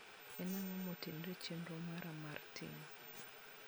en ang`o mantiero e chenro mara mar timo